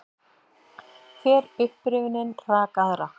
Hver upprifjunin rak aðra.